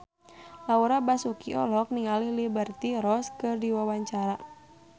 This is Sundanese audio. Laura Basuki olohok ningali Liberty Ross keur diwawancara